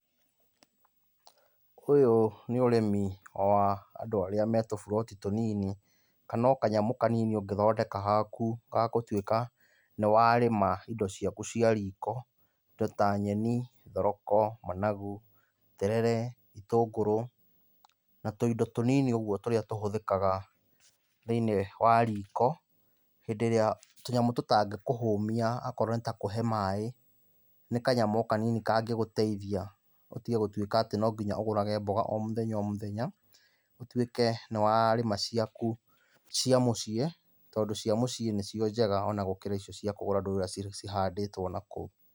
Ũyũ nĩ ũrĩmi o wa andũ arĩa me tũburoti tũnini. Kana o kanyamũ kanini ũngĩthondeka haku ga tũtuĩka nĩ warĩma indo ciaku cia riko. Indo ta nyeni, thoroko, managu, terere, itũngũrũ na tũindo tũnini ũguo tũrĩa tũhũthĩkaga thĩiniĩ wa riko hĩndĩ ĩrĩa tũnyamũ tũtangĩkũhũmia akorwo nĩ ta kũhe maĩ. Nĩ kanyamũ o kanini kangĩgũteithia ũtige gũtũĩka atĩ no nginya ũgũrage mboga o mũthenya o mũthenya. Ũtuĩke nĩ warĩma ciaku cia mũciĩ, tondũ cia mũciĩ nĩcio njega ona gũkĩra icio cia kũgũra ndũĩ ũrĩa cihandĩtwo nakũu.